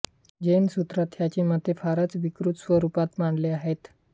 जैन सूत्रांत ह्याची मते फारच विकृत स्वरूपात मांडली आहेत